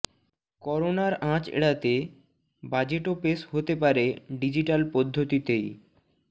করোনার আঁচ এড়াতে বাজেটও পেশ হতে পারে ডিজিটাল পদ্ধতিতেই